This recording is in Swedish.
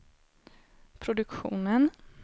produktionen